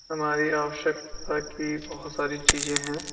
हमारी आवश्यकता की बहोत सारी चीजे हैं।